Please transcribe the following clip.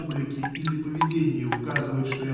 бублики или поведение указывает что я